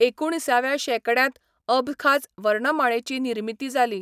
एकुणिसाव्या शेंकड्यांत अबखाझ वर्णमाळेची निर्मिती जाली.